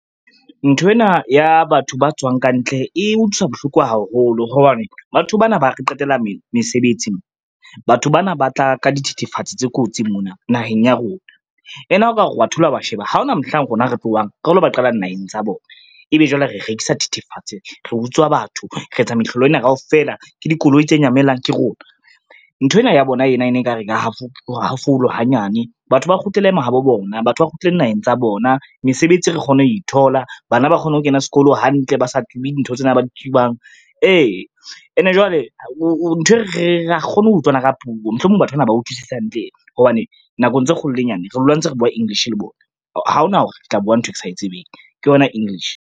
Nthwena ya batho ba tswang kantle e utlwisa bohloko haholo hobane batho bana ba re qetella mesebetsi. Batho bana ba tla ka dithethefatsi tse kotsi mona naheng ya rona. Ene ha o ka re wa thola wa sheba ha ona mohlang rona re tlohang re lo ba qala naheng tsa bona, ebe jwale re rekisa thethefatse, re utswa batho, re e tsa mehlolo ena kaofela, ke dikoloi tse nyamelang ke rona. Nthwena ya bona ena ene ekare e ra hafolwa hanyane batho ba kgutlele mahabo bona, batho ba kgutlele naheng tsa bona, mesebetsi re kgone ho e thola, bana ba kgone ho kena sekolo hantle ba sa tsube dintho tsena ba di tsubang. Ee ene jwale ha re kgone ho utlwana ka puo, mohlomong batho bana ba utlwisisi hantle, hobane nakong tse kgolo le e nyane re dula ntse re bua English le bona, ha ona hore re tla bua ntho e ke sa e tsebeng, ke yona English.